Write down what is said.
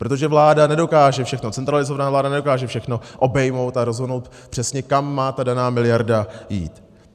Protože vláda nedokáže všechno centralizovat, vláda nedokáže všechno obejmout a rozhodnout přesně, kam má ta daná miliarda jít.